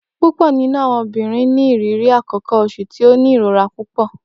Pupọ ninu awọn obinrin ni iriri akoko oṣu ti o ni irora pupọ.